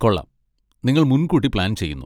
കൊള്ളാം, നിങ്ങൾ മുൻകൂട്ടി പ്ലാൻ ചെയ്യുന്നു.